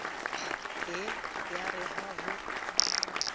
ye a re ha ho